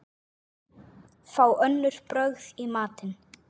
Fá önnur brögð í matinn.